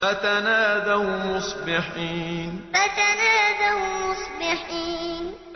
فَتَنَادَوْا مُصْبِحِينَ فَتَنَادَوْا مُصْبِحِينَ